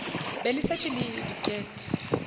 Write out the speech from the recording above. be le šetše le diket